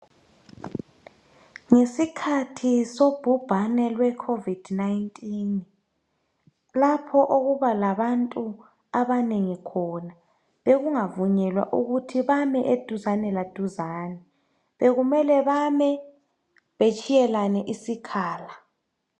Ngesikhathi sobhubhane lwecovid 19 lapho okuba labantu abanengi khona bekungavunyelwa ukuthi bame eduzane laduzane. Bekumele bame betshiyelane isikhala.